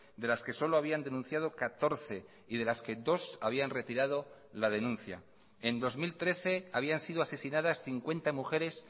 de las que solo habían denunciado catorce y de las que dos habían retirado la denuncia en dos mil trece habían sido asesinadas cincuenta mujeres